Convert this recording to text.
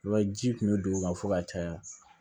I b'a ye ji kun bɛ don u ka fo ka caya